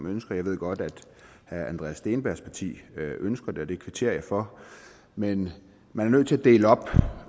ønsker jeg ved godt at herre andreas steenbergs parti ønsker det og det kvitterer jeg for men man er nødt til at dele op